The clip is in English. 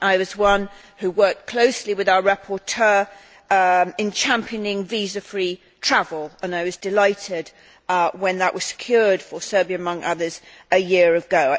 I worked closely with our rapporteur in championing visa free travel and I was delighted when that was secured for Serbia, among others, a year ago.